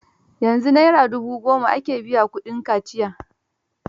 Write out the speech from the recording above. Yanzu Naira dubu goma ake biya kudin kaciya.